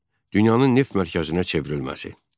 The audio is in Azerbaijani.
Bakının dünyanın neft mərkəzinə çevrilməsi.